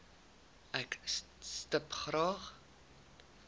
ek stip graag